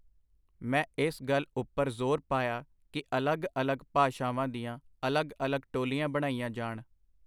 ਮੈਂ ਇਸ ਗੱਲ ਉਪਰ ਜ਼ੋਰ ਪਾਇਆ ਕਿ ਅਲੱਗ-ਅਲੱਗ ਭਾਸ਼ਾਵਾਂ ਦੀਆਂ ਅਲੱਗ-ਅਲੱਗ ਟੋਲੀਆਂ ਬਣਾਈਆਂ ਜਾਣ.